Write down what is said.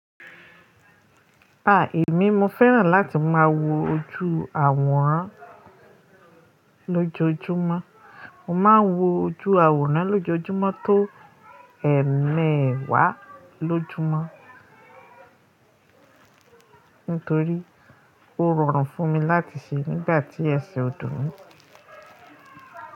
A! Èmi mo fẹ́ràn láti máa wo ojú àwòrán lójoójúmọ́. Mo máa ń wo ojú àwòrán lójoójúmọ́ tó ẹ̀ẹ̀mẹ́wàá lójumọ. Nítorí ó rọrùn fún mi láti ṣe nígbà tí ẹsẹ̀ ò dùn mí.